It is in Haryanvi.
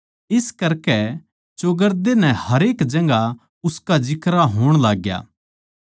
इस करकै चौगरदे नै हरेक जगहां उसका जिक्रा होण लाग्या